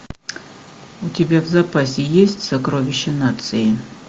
у тебя в запасе есть сокровища нации